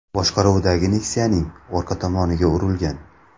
boshqaruvidagi Nexia’ning orqa tomoniga urilgan.